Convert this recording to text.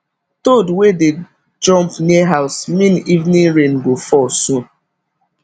toad wey dey jump near house mean evening rain go fall soon